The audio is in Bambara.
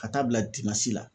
Ka taa'a bila la